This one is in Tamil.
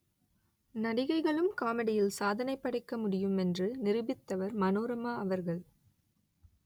நடிகைகளும் காமெடியில் சாதனைப் படைக்க முடியும் என்று நிரூபித்தவர் மனோரமா அவர்கள்